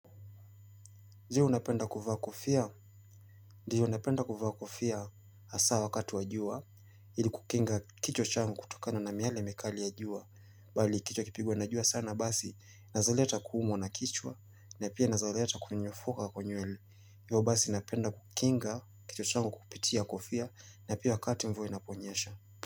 Je, unapenda kufaa kufia? Ndiyo napenda kufa kufia hasa wakati wa jua, ili kukinga kichwa changu kutokana na miale mikali ya jua, bali kichwa kikipigwa na jua sana basi, inaezaleta kuumua na kichwa, na pia inazaleta kuminyefoka kwa nywele. Ndio basi napenda kukinga kichwa changu kupitia kufia, na pia wakati mvua inaponyesha.